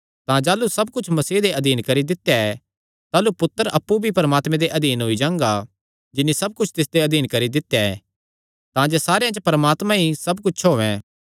तां जाह़लू सब कुच्छ मसीह दे अधीन करी दित्या ऐ ताह़लू पुत्तर अप्पु भी परमात्मे दे अधीन होई जांगा जिन्नी सब कुच्छ तिसदे अधीन करी दित्या ऐ तांजे सारेयां च परमात्मा ई सब कुच्छ होयैं